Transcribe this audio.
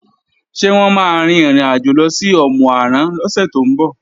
Ṣé wọ́n máa rin ìrìnàjò lọ sí Òmù-àrán lọ́sẹ̀ tó ń bọ̀?